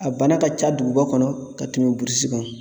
A bana ka ca duguba kɔnɔ ka tɛmɛ burusi kɔnɔ